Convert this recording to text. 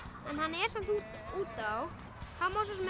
en hann er samt út á þá má sá sem